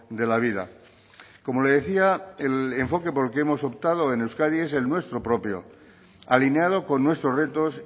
de la vida como le decía el enfoque de por qué hemos optado en euskadi es el nuestro propio alineado con nuestros retos